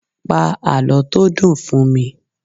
Pa àlọ́ tó dùn fún mi!